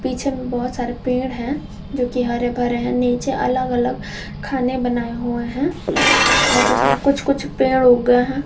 पीछे में बहोत सारे पेड़ हैं जो कि हरे भरे हैं नीचे अलग अलग खाने बनाए हुए हैं और उसमें कुछ कुछ पेड़ हो गए हैं।